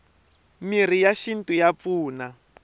mirhi ya xinto ya pfuna